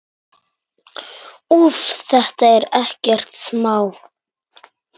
Úff, þetta er ekkert smá.